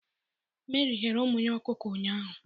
Meri ghere ụmụ ya ọkụkọ ụnyaahụ.